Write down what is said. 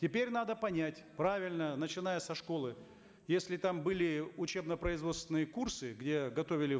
теперь надо понять правильно начиная со школы если там были учебно производственные курсы где готовили